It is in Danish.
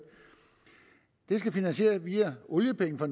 det skal finansieres via oliepenge fra